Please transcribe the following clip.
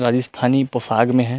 राजिस्थानी पोसाग में है।